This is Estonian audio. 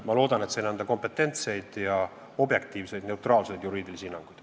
Ma loodan, et sain anda kompetentseid, objektiivseid ja neutraalseid juriidilisi hinnanguid.